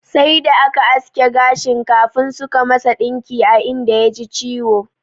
Sai da aka aske gashin kafin suka masa ɗinki a inda ya ji ciwo.